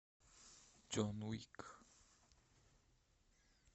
джон уик